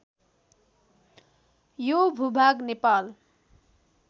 यो भूभाग नेपाल